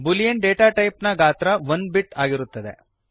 Boolean data type ನ ಗಾತ್ರ 1 bit ಒಂದು ಬಿಟ್ ಆಗಿರುತ್ತದೆ